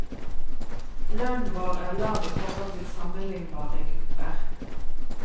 Lønnen vår er lav i forhold til sammenlignbare grupper.